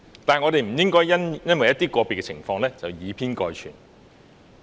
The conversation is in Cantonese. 但是，我們不應該因為一些個別情況而以偏概全。